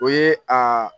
O ye a